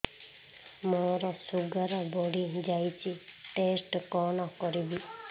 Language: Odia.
ମୋର ଶୁଗାର ବଢିଯାଇଛି ଟେଷ୍ଟ କଣ କରିବି